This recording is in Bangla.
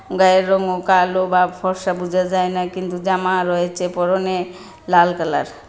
গায়ের রংও কালো বা ফর্সা বুঝা যায় না কিন্তু জামা রয়েছে পরনে লাল কালার।